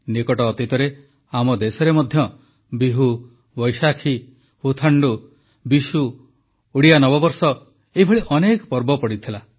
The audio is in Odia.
ନିକଟ ଅତୀତରେ ଆମ ଦେଶରେ ମଧ୍ୟ ବିହୁ ବୈଶାଖୀ ପୁଥାଣ୍ଡୁ ବିଶୁ ଓଡ଼ିଆ ନବବର୍ଷ ଏଭଳି ଅନେକ ପର୍ବ ପଡ଼ିଥିଲା